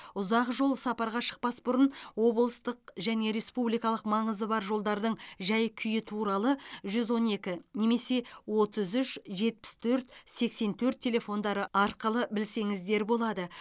ұзақ жол сапарға шықпас бұрын облыстық және республикалық маңызы бар жолдардың жай күйі туралы жүз он екі немесе отыз үш жетпіс төрт сексен төрт телефондары арқылы білсеңіздер болады